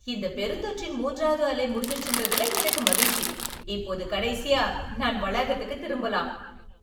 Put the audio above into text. இந்தப் பெருந்தொற்றின் மூன்றாவது அலை முடிஞ்சுருச்சுன்றதுல எனக்கு மகிழ்ச்சி. இப்போது, கடைசியா நான் வளாகத்துக்குத் திரும்பலாம்.